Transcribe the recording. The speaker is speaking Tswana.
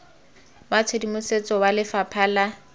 wa tshedimosetso wa lefapha la